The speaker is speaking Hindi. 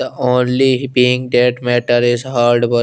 औरली ही पिंग टेट मेटर इस हार्ड वर्क --